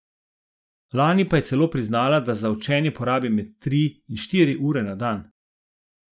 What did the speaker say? Lani pa je celo priznala, da za učenje porabi med tri in štiri ure na dan.